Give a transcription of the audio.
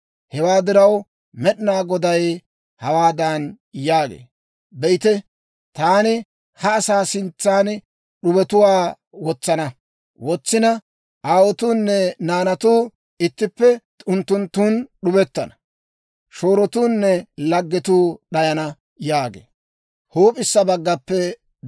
Hewaa diraw, Med'inaa Goday hawaadan yaagee; «Be'ite, taani ha asaa sintsan d'ubetuwaa wotsana. Aawotuunne naanatuu ittippe unttunttun d'ubettana. Shoorotuunne laggetuu d'ayana» yaagee.